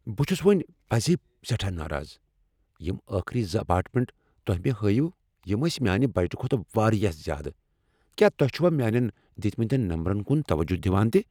بہٕ چُھس ؤنۍ پٔزی سیٹھاہ ناراض۔ یم آخری زٕ اپارٹمنٹ تۄہہ مےٚ ہٲوۍوٕ یِم ٲسۍ میانہِ بجٹہٕ کھۄتہٕ واریاہ زیادٕ۔ کیا تُہۍ چھِوا میانین دِتۍمتین نمبرن كُن توجہ دِوان تہِ؟